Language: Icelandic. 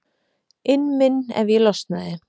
inn minn ef ég losnaði.